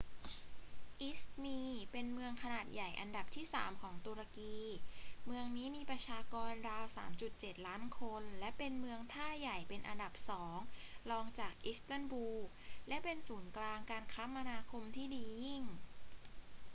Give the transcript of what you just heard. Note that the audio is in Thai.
อิซมีร์เป็นเมืองขนาดใหญ่อันดับที่สามของตุรกี เมืองนี้มีประชากรราว 3.7 ล้านคนและเป็นเมืองท่าใหญ่เป็นอันดับสองรองจากอิสตันบูล และเป็นศูนย์กลางการคมนาคมที่ดียิ่ง